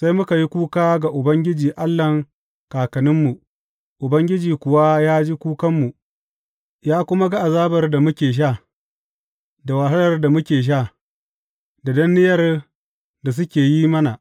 Sai muka yi kuka ga Ubangiji Allahn kakanninmu, Ubangiji kuwa ya ji kukanmu, ya kuma azabar da muke sha, da wahalar da muke sha, da danniyar da suke yin mana.